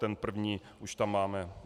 Ten první už tam máme.